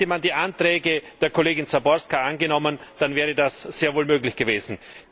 Hätte man die Anträge der Kollegin Záborská angenommen, dann wäre das sehr wohl möglich gewesen.